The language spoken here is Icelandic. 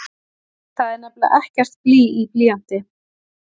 Það er nefnilega ekkert blý í blýanti!